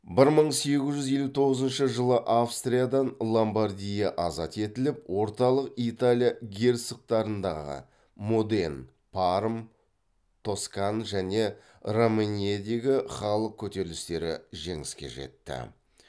бір мың сегіз жүз елу тоғызыншы жылы австриядан ломбардия азат етіліп орталық италия герцогтықтарындағы және романьедегі халық көтерілістері жеңіске жетті